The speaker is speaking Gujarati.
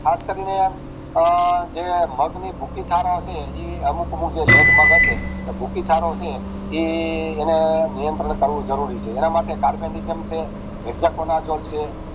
આસ કરીને અઅ જે મગ ની શુકી તારા છે એ અમુક અમુક જે let મગ હશે હુંકી ટેરો છે એ એના નિયત્રંણ કરવું જરૂરી છે એના માટે Carpentisum છે hexaconazole છે